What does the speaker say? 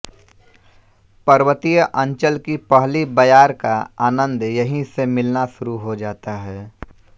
पर्वतीय अंचल की पहली बयार का आनन्द यहीं से मिलना शुरु हो जाता है